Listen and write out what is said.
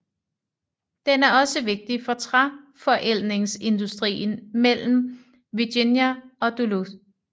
Den er også vigtig for træforædlingsindustrien mellem Virginia og Duluth